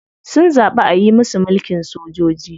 Sun zaɓi ayi musu mulkin sojoji.